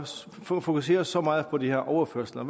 fokuseres så meget på de her overførsler